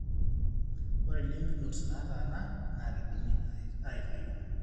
ore lymph nodes nataana na kindimi aitayu.